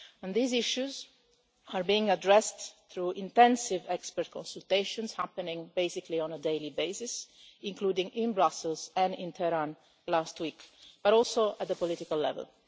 These issues are being addressed through intensive expert consultations, happening basically on a daily basis, including in Brussels and in Tehran last week, but also at the political level.